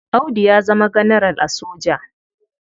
Audu ya zama ganaral a soja.